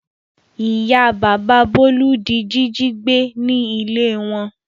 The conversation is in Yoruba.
Ìyá bàbá Bólú di jíjí gbé ní ilé wọn.